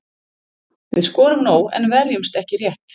Við skorum nóg en verjumst ekki rétt.